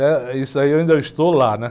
Eh, isso aí eu ainda estou lá, né?